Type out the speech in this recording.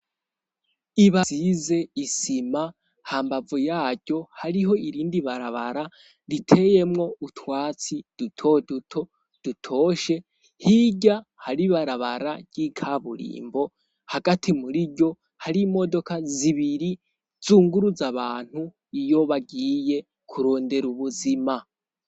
Iba size isima ha mbavu yaryo hariho irindi barabara riteyemwo utwatsi dutoduto dutoshe hirya haribarabara ry'ikaburimbo hagati muri ryo hari imodoka zibiri zunguruza abantu iyo bagiye kurondera ubuzima.